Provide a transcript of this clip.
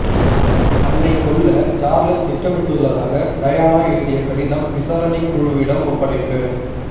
தன்னை கொல்ல சார்ள்ஸ் திட்டமிட்டுள்ளதாக டயானா எழுதிய கடிதம் விசாரணைக் குழுவிடம் ஒப்படைப்பு